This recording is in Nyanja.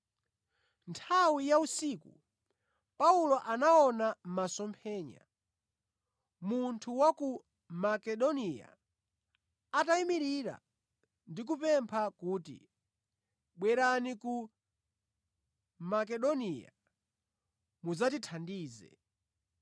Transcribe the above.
Nthawi ya usiku Paulo anaona masomphenya, munthu wa ku Makedoniya atayimirira ndi kumupempha kuti, “Bwerani ku Makedoniya, mudzatithandize.”